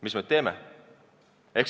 Mis me nüüd teeme?